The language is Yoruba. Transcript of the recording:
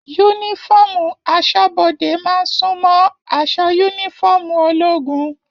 Yúnífọ̀ọ́mù asọ́bọdè máa n sunmọ aṣọ yúnífọ̀ọ́mù ológun.